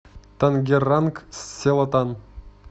тангеранг селатан